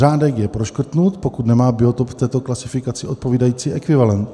Řádek je proškrtnut, pokud nemá biotop v této klasifikaci odpovídající ekvivalent.